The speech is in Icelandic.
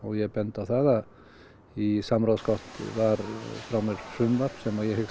ég bendi á það að í samráðsgátt var frá mér frumvarp sem ég hyggst